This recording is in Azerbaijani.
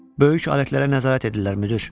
Böyük əməliyyətlərə nəzarət edirlər, müdir.